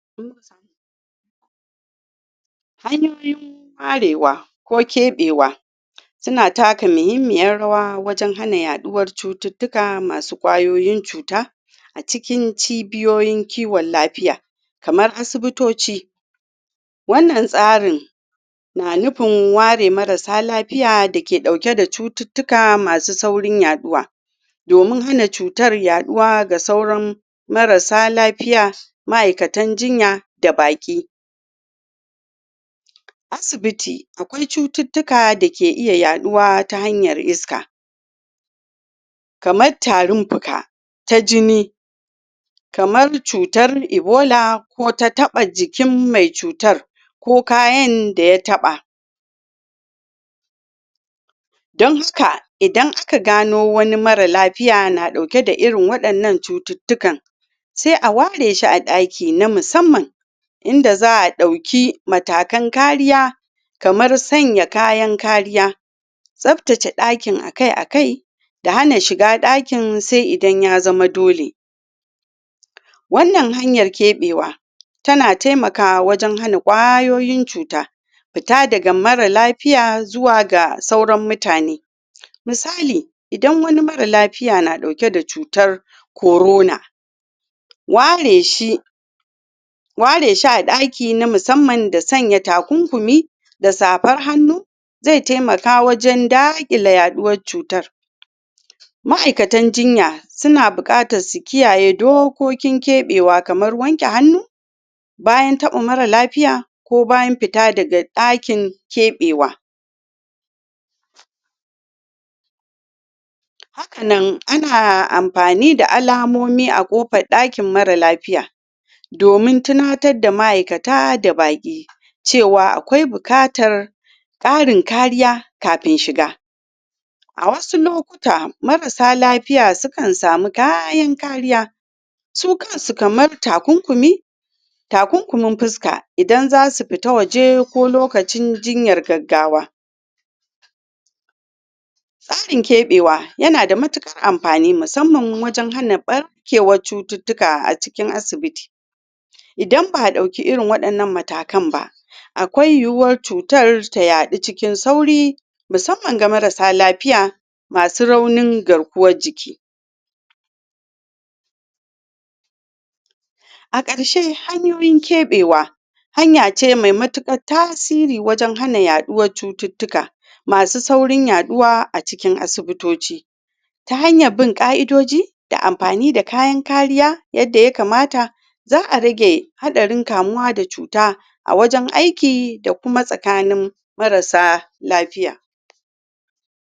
karewa ko kebewa suna taka muhimmiyar rawa wajen hana yaduwar cututtuka masu kwayoyin cuta a cikin cibiyoyin kiwon lafiya kamar asibitoci. Wannan tsarin na nufin ware marasa lafiya dake dauke da cututtuka masu saurin yaduwa domin hana cutar yaduwa ga sauran marasa lafiya, ma'aikatan jinya da baki. da baki asibiti. Akwai cututtuka dake iya yaduwa ta hanyar iska kamar tarin fuka, ta jini kamar cutar ebola, ko ta taba jikin mai cutar ko kayan da ya taba. Don haka, idan aka gano wani mara lafiya na dauke da irin wadannan cututtukan, sai a ware shi a daki na musamman inda za a dauki matakan kariya kamar sanya kayan kariya, tsabtace dakin akai-akai, da hana shiga dakin sai idan ya zama dole. Wannan hanyar kebewa tana taimakawa wajen hana kwayoyin cuta fita da mara lafiya zuwa ga sauran mutane fita daga mara lafiya zuwa ga sauran mutane. Misali, idan wani mara lafiya na dauke da cutar corona, ware shi, ware shi a daki na musamman da sanya takunkumi da zabar hannu zai taimaka wajen dagila yaduwar cutar. Ma'aikatan jinya suna bukatan su kiyaye dokokin kebewa kamar wanke hannu, bayan taba mara lafiya ko bayan fita daga dakin kebewa. Haka nan, ana amfani da alamomi a kofar dakin mara lafiya domin tunatar da ma'aikata da baki cewa a bukatar karin kariya kafin shiga. A wasu lokuta, marasa lafiya sukan samu kayin kariya su kansu kamar takunkumi, takunkumin fuska idan zasu fita waje ko lokacin jinyar gaggawa. Karin kebewa yana da matukar amfani, musamman wajen hana bar- kewar cututtuka a cikin asibiti. Idan ba dauki irin wadannan matakan ba, akwai yu'uwar cutar ta yadu cikin sauri musamman game ga marasa lafiya masu raunin garkuwar jiki. A karshe, hanyoyin kebewa hanya ce mai matukar tasiri wajen hana yaduwar cututtuka masu saurin yaduwa a cikin asibitoci ta hanyar bin ka'idoji da amfani da kayan kariya yadda ya kamata, za a rage hatsarin kamuwa da cuta a wajen aiki da kuma tsakanin marasa lafiya.